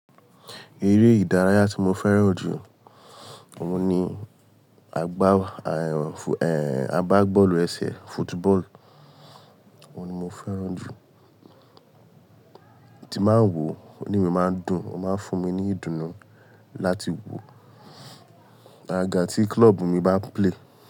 Eré ìdárayá tí mo fẹ́ràn jù ọ̀hun ni agbá, àgbá bọ́ọ̀lù ẹsẹ̀, football. Òhun ni mo fẹ́ràn jù tí n bà n wò, inu mi màá n dùn, ó máa ń fún mi ní ìdùnnú láti wò àga tí club mi bá play.